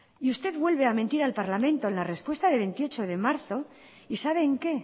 y usted vuelve a mentir al parlamento en la respuesta de veintiocho de marzo y sabe en qué